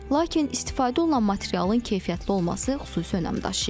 Lakin istifadə olunan materialın keyfiyyətli olması xüsusi önəm daşıyır.